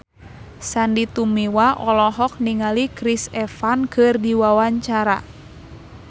Sandy Tumiwa olohok ningali Chris Evans keur diwawancara